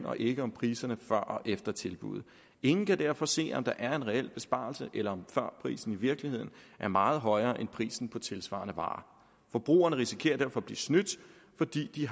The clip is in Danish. og ikke om priserne før og efter tilbuddet ingen kan derfor se om der er en reel besparelse eller om førprisen i virkeligheden er meget højere end prisen på tilsvarende varer forbrugerne risikerer derfor at blive snydt fordi de